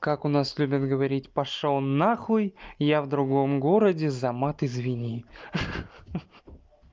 как у нас любят говорить пошёл на хуй я в другом городе за мат извини ха-ха